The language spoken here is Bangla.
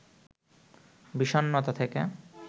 বিষণ্ণতা থেকে